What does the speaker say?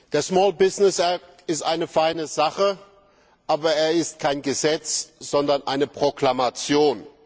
Der ist eine feine Sache, aber er ist kein Gesetz, sondern eine Proklamation.